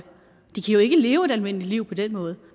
de kan jo ikke leve et almindeligt liv på den måde